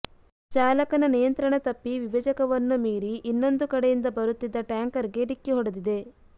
ಚಾಲಕನ ನಿಯಂತ್ರಣ ತಪ್ಪಿ ವಿಭಜಕವನ್ನು ಮೀರಿ ಇನ್ನೊಂದು ಕಡೆಯಿಂದ ಬರುತ್ತಿದ್ದ ಟ್ಯಾಂಕರ್ ಗೆ ಡಿಕ್ಕಿ ಹೊಡೆದಿದೆ